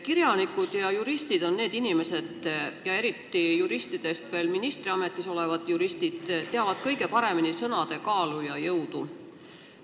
Kirjanikud ja juristid ja eriti veel ministriametis olevad juristid on need inimesed, kes teavad kõige paremini sõnade kaalu ja jõudu.